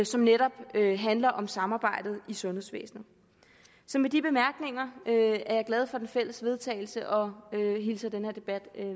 som netop handler om samarbejdet i sundhedsvæsenet så med de bemærkninger vil jeg er glad for det fælles vedtagelse og hilser den her debat